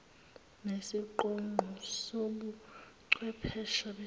nesiqonqo sobuchwephesha besintu